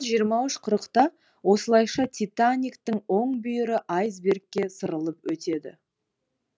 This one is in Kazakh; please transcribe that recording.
жиырма үш қырытқа осылайша титаниктің оң бүйірі айсбергке сырылып өтеді